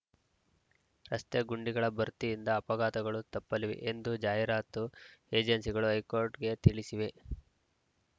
ರಸ್ತೆಗುಂಡಿಗಳ ಭರ್ತಿಯಿಂದ ಅಪಘಾತಗಳು ತಪ್ಪಲಿವೆ ಎಂದು ಜಾಹೀರಾತು ಏಜೆನ್ಸಿಗಳು ಹೈಕೋರ್ಟ್‌ಗೆ ತಿಳಿಸಿವೆ